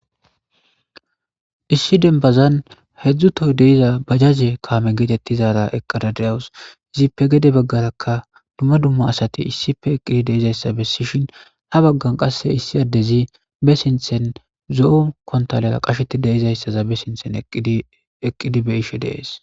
Issi denbazan hedzdzu toy de'iza bajaze kaame geetettizaara eqqada deawus izippe gede baggarakka dumma dumma asati issife eqqidi deizayssa bessishin ha baggan qasse issi addezi be sinthen zo'o kontalela qasheti deizayssaza be sinthen eqqidi be ishe de'ees.